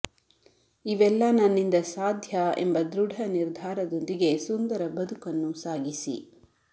ಇವೆಲ್ಲ ನನ್ನಿಂದ ಸಾಧ್ಯ ಎಂಬ ದೃಢ ನಿರ್ಧಾರದೊಂದಿಗೆ ಸುಂದರ ಬದುಕನ್ನು ಸಾಗಿಸಿ